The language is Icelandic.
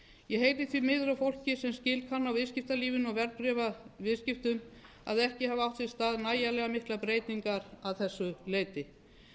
ég heyri því miður á fólki sem skil kann á viðskiptalífinu og verðbréfaviðskiptum að ekki hafa átt sér stað nægilega miklar breytingar að þessu leyti